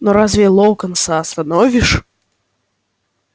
но разве локонса остановишь